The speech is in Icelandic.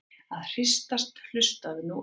að hristast- hlustaðu nú á!